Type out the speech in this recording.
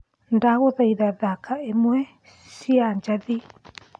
ndagũthaitha thaka imwe cĩa jathi